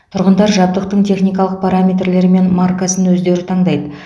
тұрғындар жабдықтың техникалық параметрлері мен маркасын өздері таңдайды